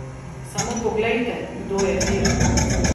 Samo poglejte, kdo je vir.